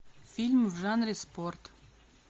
фильм в жанре спорт